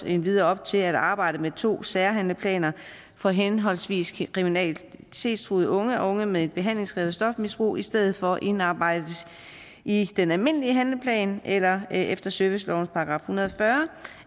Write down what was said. endvidere op til at arbejdet med to særhandleplaner for henholdsvis kriminalitetstruede unge og unge med et behandlingskrævende stofmisbrug i stedet for indarbejdes i den almindelige handleplan eller efter servicelovens § en hundrede og fyrre